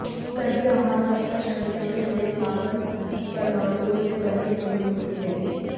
सभी आहार वसा श्रृंखला में जुड़े कार्बन परमाणुओं से बने अणु होते हैं